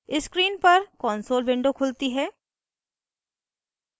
screen पर console window खुलती है